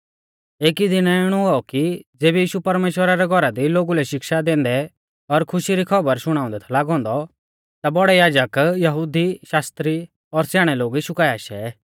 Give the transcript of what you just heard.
एकी दीनै इणौ हुऔ कि ज़ेबी यीशु परमेश्‍वरा रै घौरा दी लोगु लै शिक्षा दैंदै और खुशी री खौबर शुणाऊंदै थौ लागौ औन्दौ ता बौड़ै याजक यहुदी शास्त्री और स्याणै लोग यीशु काऐ आशै